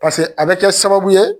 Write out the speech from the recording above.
Paseke a bi kɛ sababu ye